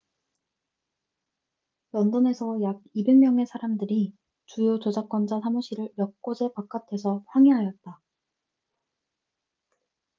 런던에서 약 200명의 사람들이 주요 저작권자 사무실 몇 곳의 바깥에서 항의하였다